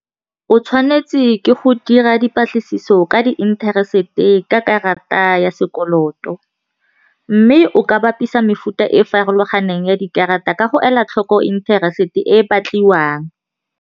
O tshwanetse ke go dira dipatlisiso ka di interest-e ka karata ya sekoloto, mme o ka bapisa mefuta e farologaneng ya dikarata ka go ela tlhoko interest-e e batliwang.